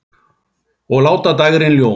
Og láta dægrin ljóma.